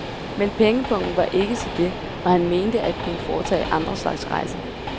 Men pengepungen var ikke til det, og han mente at kunne foretage andre slags rejser.